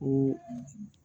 Ko